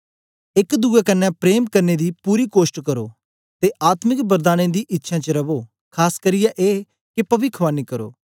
एक दुए कन्ने प्रेम करने दी पूरी कोष्ट करो ते आत्मिक वरदानें दी इच्छ्यां च रवो खास करियै ए के पविखवाणी करो